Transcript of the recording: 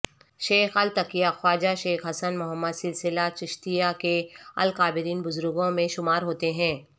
شیخ الاتقیاءخواجہ شیخ حسن محمد سلسلہ چشتیہ کے اکابرین بزرگوں مین شمار ہوتے ہیں